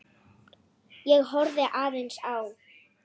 Ég horfði aðeins á